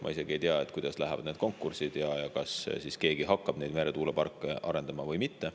Ma isegi ei tea, kuidas lähevad need konkursid ja kas keegi hakkab neid meretuuleparke arendama või mitte.